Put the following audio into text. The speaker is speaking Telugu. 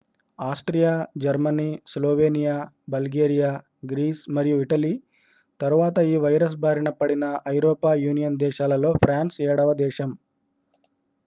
Austria Germany Slovenia Bulgaria Greece మరియు ఇటలీ తరువాత ఈ వైరస్ బారిన పడిన ఐరోపా యూనియన్ దేశాలలో ఫ్రాన్స్ ఏడవ దేశం